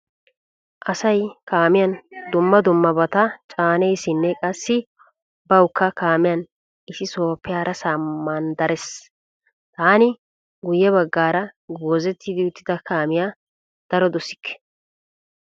Asay kaamiyan dumma dummabata ccaneesinne qassi bawukka kaamiyan issi sohaappe harasaa manddarees. Taani guyye baggaara goozetti uttida kaamiya daro dosikke.